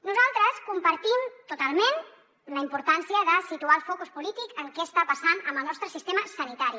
nosaltres compartim totalment la importància de situar el focus polític en què està passant amb el nostre sistema sanitari